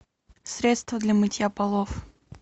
средство для мытья полов